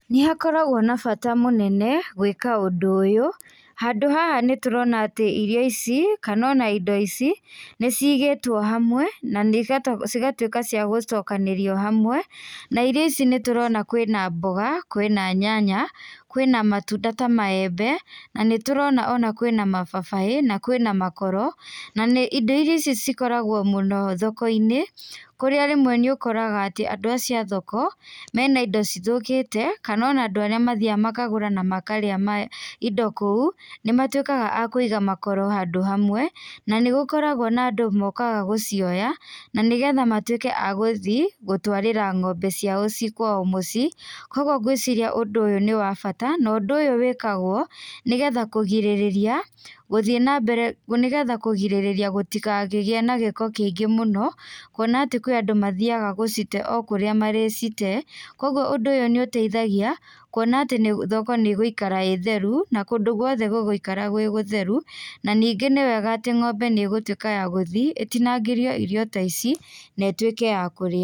Nĩ hakoragwo na bata mũnene gwĩka ũndũ ũyũ. Handũ haha nĩ tũrona irio ici kana ona indo ici nĩ cigĩtwo hamwe na cigatuĩka cia gũcokanĩrio hamwe, na irio ici nĩ tũrona kwĩna mboga, kwĩna nyanya, kwĩna matunda ta maembe, na nĩ tũrona ona kwĩna mababai na kwĩna makoro. Na indo icio cikoragwo mũno thoko-inĩ kũrĩa rĩmwe nĩ ũkoraga atĩ andũ acio a thoko, mena indo cithũkĩte kana ona andũ arĩa mathiaga makagũra na makarĩa indo kũu nĩ matuĩkaga a kũiga makoro handũ hamwe, na nĩ gũkoragwo na andũ mokaga gũcioya na nĩgetha matuĩke agũthiĩ gũtwarĩra ng'ombe ciao ciĩ kwao mũciĩ. Koguo gwĩciria ũndũ ũyũ nĩ wa bata no ũndũ ũyũ wĩkagwo nĩgetha kũgirĩrĩria, nĩgetha kũgirĩrĩria gũtigakĩgĩe na gĩko kĩingĩ mũno, kuona atĩ kwĩ andũ mathiaga gũcite o kũrĩa marĩcitee. Koguo ũndũ ũyũ nĩ ũteithagia kuona atĩ thoko nĩ ĩgũikara ĩĩ theru, na kũndũ guothe gũgũikara gwĩ gũtheru, na ningĩ nĩ wega atĩ ng'ombe nĩ ĩgũtuĩka ya gũthiĩ, ĩtinangĩrio irio ta ici na ituĩke ya kũrĩa.